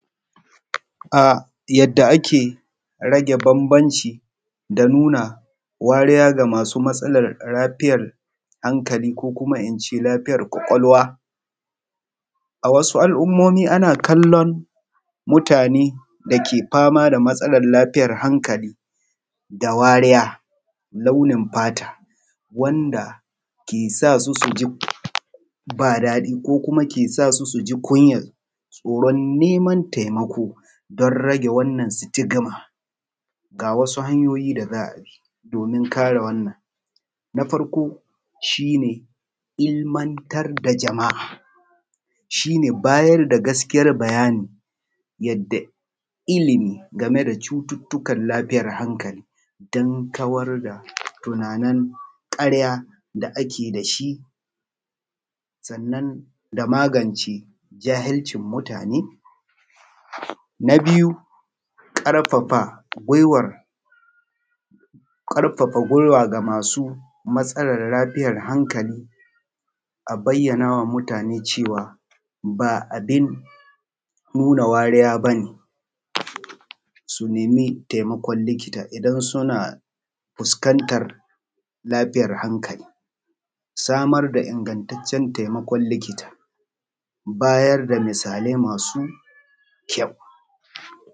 A yadda ake rage bambanci da nuna wariya ga masu matsalar lafiyar hankali ko kuma in ce lafiyar kwakwalwa, a wasu al’ummomi ana kallon mutane dake fama da matsalar lafiyar hankali da wariya, launin fata wanda ke sa su su ji ba daɗi ko kuma ke sa su su ji kunyan tsoron neman taimako. Don rage wannan sitigima ga wasu hanyoyi da za a bi domin kare wannan na farko shi ne ilmantar da jama’a shi ne bayar da gaskiyar bayani yadda ilimi game da cututtukan lafiyar hankali dan kawar da tunanin ƙarya da ake da shi, sannan da magance jahincin mutane. Na biyu ƙarffa gwiwar, ƙarfafa gwiwa da masu matsalar lafiyar hankali, a bayyana wa mutane cewa ba abin nuna wariya ba ne su nemi taimakon likita in suna fuskantar lafiyar, hankali samar da ingataccen taimakon likita, bayar da misali masu kyau.